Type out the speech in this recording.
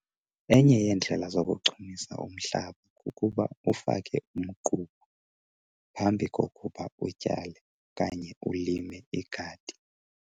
Enye yeendlela zokuchumisa umhlaba kukuba ufake umgquba phambi kokuba utyale okanye ulime igadi.